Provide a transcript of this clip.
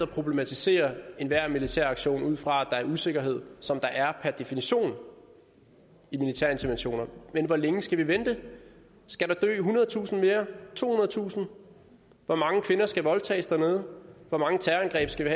problematisere enhver militæraktion ud fra at der er usikkerhed som der per definition er i militære interventioner men hvor længe skal vi vente skal der dø ethundredetusind mere tohundredetusind hvor mange kvinder skal voldtages dernede hvor mange terrorangreb skal vi